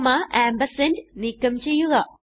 comma ampersand നീക്കം ചെയ്യുക